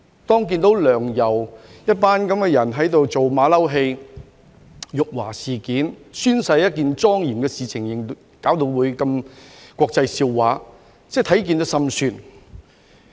當看到"梁游"這樣一幫人在這裏做"馬騮戲"，搞出辱華事件，把宣誓這麼一件莊嚴的事情弄成如此國際笑話，實在心酸。